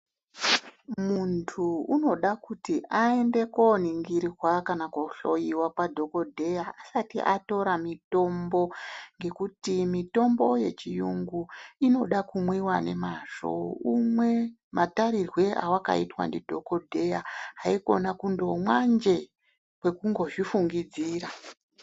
Muntu unida kuti aende kuningirwa kana kohloyiwa kwadhokodheya usati watora mutombo ngokuti mutombo ye hiyungu unoda kumwiwa nemhazvo unwe mataurirwe awakaitwa ndidhokodheya haikona kungomwa zvee kwekuzvifungidzira.